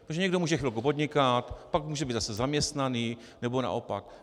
Protože někdo může chvilku podnikat, pak může být zase zaměstnaný, nebo naopak.